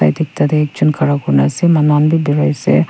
Yeta akajun khara kuri na asa manu khanbe berai asa.